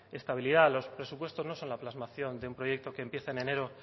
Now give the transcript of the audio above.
estabilidad de los presupuestos no solo en la plasmación de un proyecto que empieza en enero